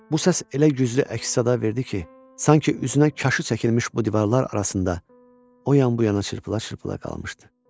Bu səs elə güclü əks-səda verdi ki, sanki üzünə kaşı çəkilmiş bu divarlar arasında o yan-bu yana çırpıla-çırpıla qalmışdı.